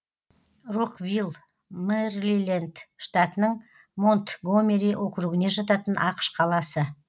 роквилл мэриленд штатының монтгомери округіне жататын ақш қаласы